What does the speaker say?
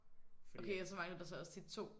Okay og så manglede der også tit 2?